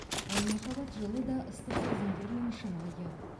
ал махаббат жылы да ыстық сезімдермен шынайы